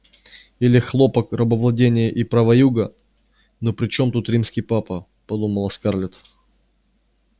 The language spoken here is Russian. или хлопок рабовладение и права юга но при чём тут римский папа подумала скарлетт